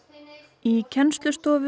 í kennslustofu í